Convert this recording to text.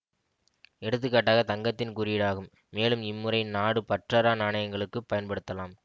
எடுத்துக்காட்டாக தங்கத்தின் குறியீடு ஆகும் மேலும் இம்முறை நாடு பற்றறா நாணயங்களுக்கு பயன்படுத்தலாம்